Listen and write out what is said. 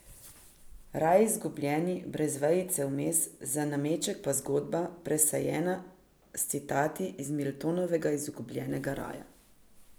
Raj izgubljeni, brez vejice vmes, za nameček pa zgodba, presejana s citati iz Miltonovega Izgubljenega raja.